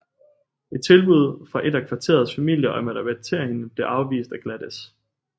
Et tilbud fra et af kvarterets familier om at adoptere hende blev afvist af Gladys